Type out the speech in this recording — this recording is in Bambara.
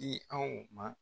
i anw ma.